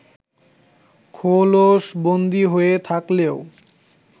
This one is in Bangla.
খোলসবন্দী হয়ে থাকলেও